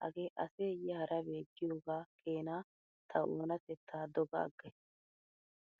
hagee aseeyye harabe giyoogaa keena ta oonatettaa doga aggays.